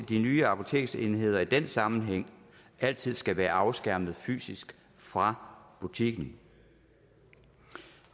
de nye apoteksenheder i den sammenhæng altid skal være afskærmet fysisk fra butikken